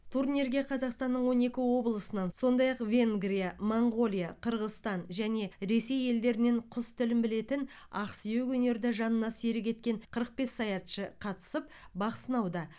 турнирге қазақстанның он екі облысынан сондай ақ венгрия моңғолия қырғызстан және ресей елдерінен құс тілін білетін ақсүйек өнерді жанына серік еткен қырық бес саятшы қатысып бақ сынауда